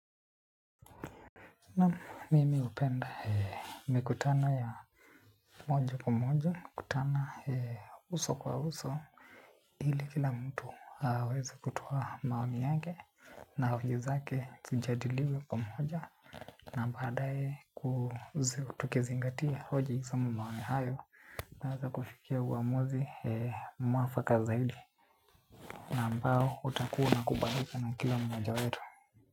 Na mimi hupenda mikutana ya moja kwa moja, kutana uso kwa uso. Ili kila mtu aweza kutoa maomi yake na hoji zake zijadiliwe kwa moja na baadaye kuzi tukizingatia hoji zamo maoni hayo naweza kufikia uamuzi mwafaka zaidi na mbao utakua unakubalika na kila mmoja wetu.